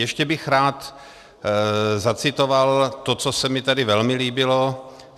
Ještě bych rád zacitoval to, co se mi tady velmi líbilo.